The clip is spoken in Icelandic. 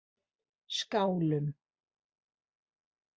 Skálum